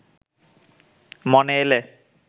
মনে এলে